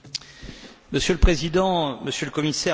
Monsieur le Président, Monsieur le Commissaire, merci.